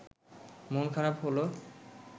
মন খারাপ হলো